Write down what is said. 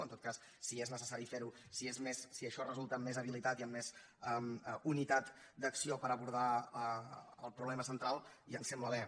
en tot cas si és necessari fer ho si això resulta en més habilitat i en més unitat d’acció per abordar el problema central ja em sembla bé